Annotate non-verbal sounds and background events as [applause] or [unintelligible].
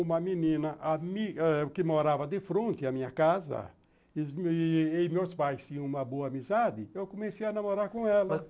Uma menina ami [unintelligible] que morava de fronte à minha casa, e meus pais tinham uma boa amizade, eu comecei a namorar com ela.